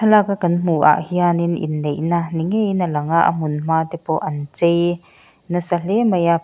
thlalaka kan hmuh ah hianin inneihna ni ngeiin a lang a a hun hma te pawh an chei nasa hle mai a pang--